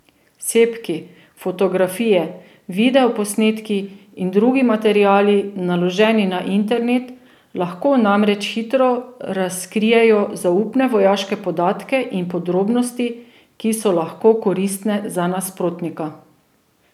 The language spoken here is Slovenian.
Sebki, fotografije, video posnetki in drugi materiali, naloženi na internet, lahko namreč hitro razkrijejo zaupne vojaške podatke in podrobnosti, ki so lahko koristne za nasprotnika.